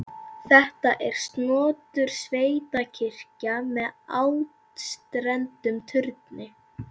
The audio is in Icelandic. Þetta er snotur sveitakirkja með áttstrendum turni.